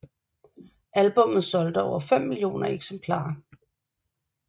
Albummet solgte over 5 millioner eksemplarer